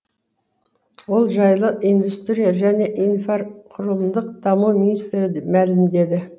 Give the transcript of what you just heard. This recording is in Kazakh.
ол жайлы индустрия және инфрақұрылымдық даму министрі мәлімдеді